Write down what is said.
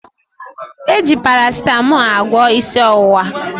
E ji Parasịtamọọ agwọ isi ọwụwa